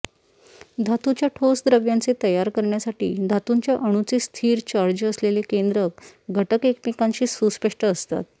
धातूच्या ठोस द्रव्यांचे तयार करण्यासाठी धातूच्या अणूंचे स्थिर चार्ज असलेले केंद्रक घटक एकमेकांशी सुस्पष्ट असतात